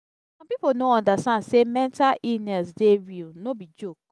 some pipo no understand say mental illness dey real no be joke.